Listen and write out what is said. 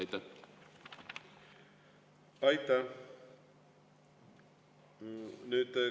Aitäh!